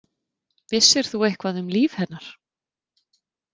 Vissir þú eitthvað um líf hennar?